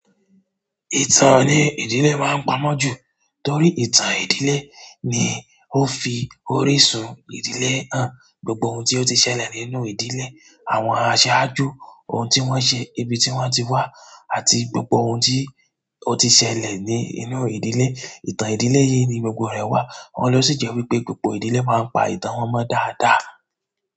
Ìtàn ní ìdílé wa ń pamọ́ jù torí ìtàn ìdílé ni ó fi orísun ìdílé hàn. Gbogbo ohun tí ó ti ṣẹlẹ̀ nínú ìdílé, àwọn asaàjú, ohun tí wọ́n ṣe, ibi tí wọ́n ti wá àti gbogbo ohun tí ó ti ṣẹlẹ̀ ní inú ìdílé, ìtàn ìdílé yìí ni gbogbo rẹ̀ wà. Wọn lọ sí jẹ́ wípé gbogbo ìdílé máa ń pa ìtàn wọn mọ dáadáa.